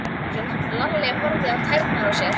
Lalli horfði á tærnar á sér.